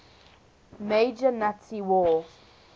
major nazi war